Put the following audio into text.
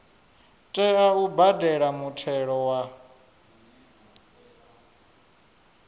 tea u badela muthelo wa